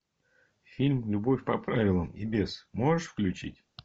фильм любовь по правилам и без можешь включить